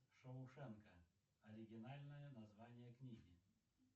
шоушенка оригинальное название книги